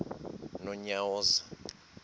nonyawoza